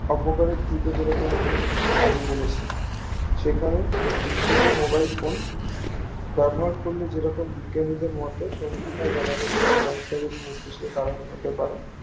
অপকার ও আছে যেরকম আগে বলেছি সেটার দিক থেকে mobile phone ব্যবহার করলে যেরকম বিজ্ঞানীদের মতে জানা গিয়েছে যে cancer এর কারণ হতে পারে